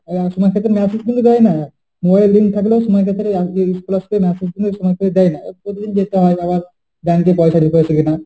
ওই account থেকে message গুলো দেয় না, mobile এ link থাকলেও সব ক্ষেত্রে এই message গুলো সময় করে দেয় না। প্রতিদিন যেতে হয় তারপর bank এ পয়সা দিতে হয় সেখানে।